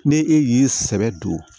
Ni e y'i sɛbɛ don